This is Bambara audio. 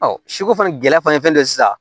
siko fana gɛlɛya fana ye fɛn dɔ ye sisan